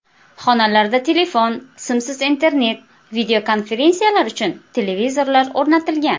Xonalarda telefon, simsiz internet, videokonferensiyalar uchun televizorlar o‘rnatilgan.